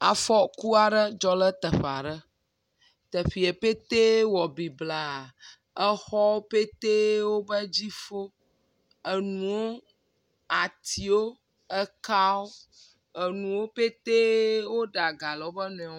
Afɔku aɖe dzɔ le teƒea ɖe teƒeɛ ƒete wɔ ebliba exɔwo ƒetee woƒe dzi fo, enuwo, atiwo, ekawo, enuwo ƒetee woɖe aga le woƒe nɔewo ŋu.